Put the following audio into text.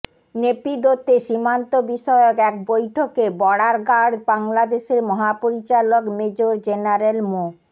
নেপিদোতে সীমান্ত বিষয়ক এক বৈঠকে বর্ডার গার্ড বাংলাদেশের মহাপরিচালক মেজর জেনারেল মো